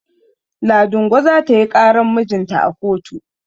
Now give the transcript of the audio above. Ladingo za ta yi ƙaran mijinta a kotu.